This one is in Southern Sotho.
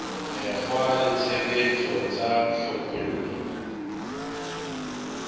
mekgwa le tshebetso tsa hlophollo